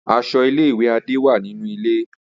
Aso ile-iwe Ade wa ninu ile.